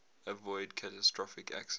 avoid catastrophic accidents